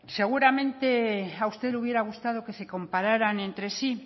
seguramente a usted le hubiera gustado que se compararan entre sí